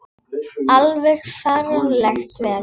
Alveg ferlega vel.